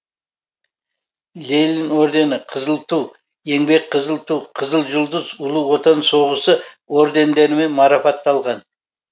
ленин ордені қызыл ту еңбек қызыл ту қызыл жұлдыз ұлы отан соғысы ордендерімен марапатталған